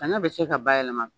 Sanɲɔ bɛ se ka bayɛlɛma.